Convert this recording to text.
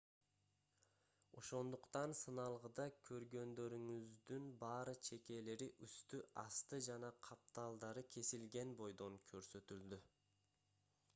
ошондуктан сыналгыда көргөндөрүңүздүн баары чекелери үстү асты жана капталдары кесилген бойдон көрсөтүлдү